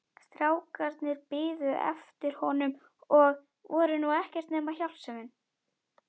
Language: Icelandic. Strákarnir biðu eftir honum og voru nú ekkert nema hjálpsemin.